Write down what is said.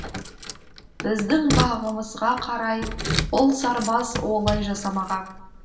біздің бағымызға қарай бұл сарбаз олай жасамаған